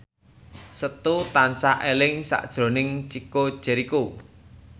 Setu tansah eling sakjroning Chico Jericho